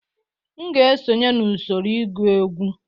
M ga-esonye n'usoro egwu egwu